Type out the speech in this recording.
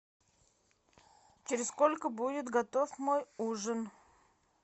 через сколько будет готов мой ужин